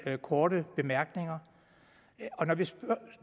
korte bemærkninger